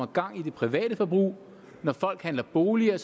gang i det private forbrug når folk handler boliger